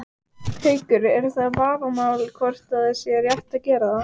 Haukur: Er það vafamál hvort að það sé rétt að gera það?